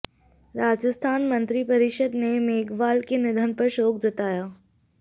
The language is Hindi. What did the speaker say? राजस्थान मंत्रिपरिषद ने मेघवाल के निधन पर शोक जताया